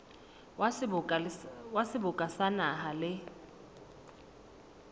wa seboka sa naha le